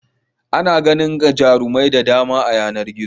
Ana ganin jarumai da dama a yanar gizo.